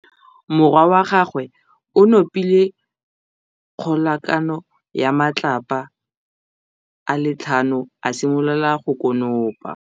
Morwa wa gagwe o nopile kgobokanô ya matlapa a le tlhano, a simolola go konopa.